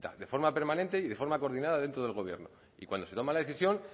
de forma permanente y de forma coordinada dentro del gobierno y cuando se toma la decisión